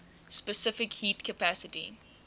specific heat capacity